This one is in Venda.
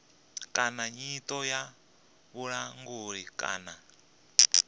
kana nyito ya vhulanguli kana